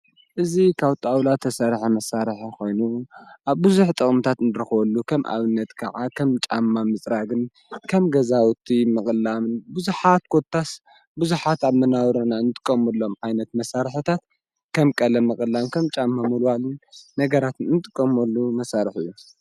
እዙ ካብ ጥውላ ተሠርሐ መሣርሐ ኾይኑ ኣብ ብዙኅ ጠምታት እንድርኽወሉ ኸም ኣብነት ከዓ ኸም ጫማ ምጽራግን ከም ገዛውቲ ምቕላምን ብዙኃት ጐታስ ብዙኃት ኣብ ምናበረና እንጥቆምሎም ኣይነት መሣርሕታት ከም ቀለ ምቕላም ከም ጫማ ምውልዋልን ነገራትን እንጥቆሞሉ መሣርሕ እዩ::